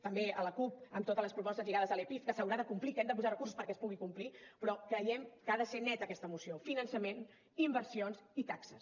també a l’acup amb totes les propostes girades a l’epif que s’haurà de complir que hem de posar recursos perquè es pugui complir però creiem que ha de ser neta aquesta moció finançament inversions i taxes